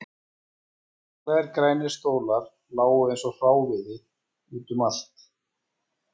Beyglaðir grænir stólar lágu eins og hráviði út um allt